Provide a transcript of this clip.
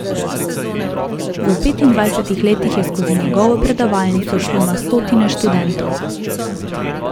V petindvajsetih letih je skozi njegovo predavalnico šlo na stotine študentov.